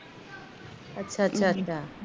ਅੱਛਾ ਅੱਛਾ